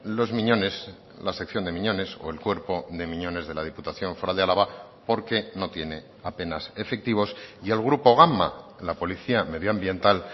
los miñones la sección de miñones o el cuerpo de miñones de la diputación foral de álava porque no tiene apenas efectivos y el grupo gama la policía medioambiental